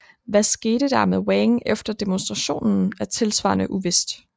Hvad der skete med Wang efter demonstrationen er tilsvarende uvist